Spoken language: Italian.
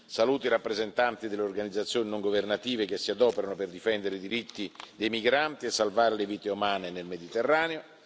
Saluto i rappresentanti delle organizzazioni non governative che si adoperano per difendere i diritti dei migranti e salvare le vite umane nel Mediterraneo.